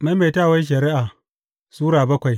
Maimaitawar Shari’a Sura bakwai